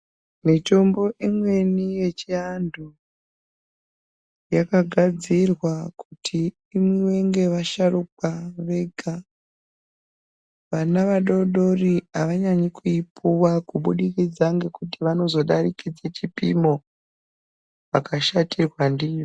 Mitombo imweni yechiantu yakagadzirwa kuti imwiwe ngevasharukwa vega. Vana vadoodori havanyanyi kuipuwa kubudikidza ngekuti vanozodarikidze chipimo, vakashatirwa ndiyo.